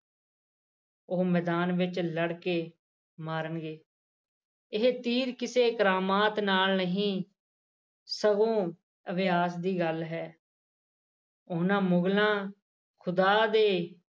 ਉਹ ਮੈਦਾਨ ਵਿੱਚ ਲੜ ਕੇ ਮਾਰਣਗੇ ਇਹ ਤੀਰ ਕਿਸੇ ਕਰਾਮਾਤ ਨਾਲ ਨਹੀ ਸਗੋਂ ਅਭਿਆਸ ਦੀ ਗੱਲ ਹੈ ਉਹਨਾਂ ਮੁਗਲਾਂ ਖੁਦਾਂ ਦੇ